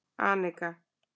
Anika